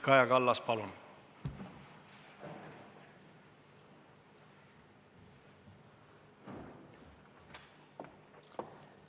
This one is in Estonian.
Kaja Kallas, palun!